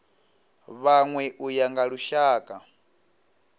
vhanwe u ya nga lushaka